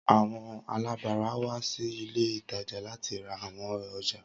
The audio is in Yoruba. Awọn alabara wa si ile itaja lati ra awọn ọja.